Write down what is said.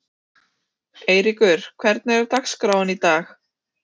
Eyríkur, hvernig er dagskráin í dag?